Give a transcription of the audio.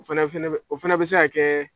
O fana fɛnɛ bɛ o fana bɛ se ka kɛ